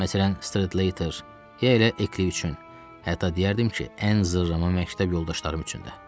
Məsələn, Stredlater, ya elə Ekli üçün, hətta deyərdim ki, ən zırrama məktəb yoldaşlarım üçün də.